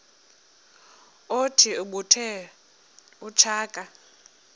othi ubethe utshaka